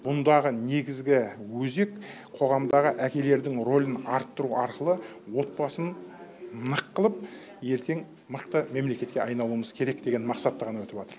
бұндағы негізгі өзек қоғамдағы әкелердің рөлін арттыру арқылы отбасын нық қылып ертең мықты мемлекетке айналуымыз керек деген мақсатта ғана өтіватыр